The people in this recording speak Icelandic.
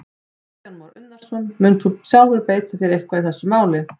Kristján Már Unnarsson: Munt þú sjálfur beita þér eitthvað í þessu máli?